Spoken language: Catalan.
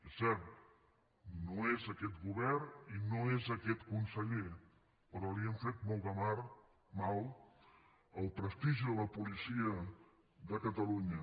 és cert no és aquest govern i no és aquest conseller però li han fet molt de mal al prestigi de la policia de catalunya